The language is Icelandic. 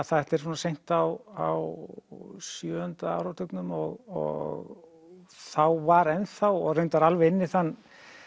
þetta er svona seint á sjöunda áratugnum og þá var enn þá og reyndar alveg inn í þann